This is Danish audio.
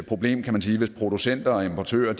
problem kan man sige hvis producenter og importører